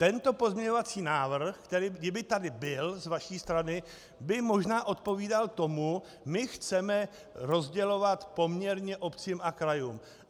Tento pozměňovací návrh, který kdyby tady byl z vaší strany, by možná odpovídal tomu: my chceme rozdělovat poměrně obcím a krajům.